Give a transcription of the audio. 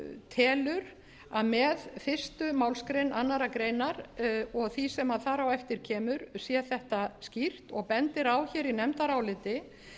telur að með fyrstu málsgrein annarrar greinar og því sem þar á eftir kemur sé þetta skýr og bendir á í nefndaráliti